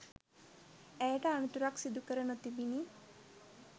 ඇයට අනතුරක් සිදු කර නොතිබිණ